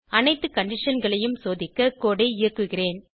அனைத்து conditionகளையும் சோதிக்க கோடு ஐ இயக்குகிறேன்